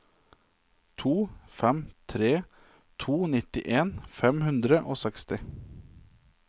to fem tre to nittien fem hundre og seksti